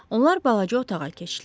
Onlar balaca otağa keçdilər.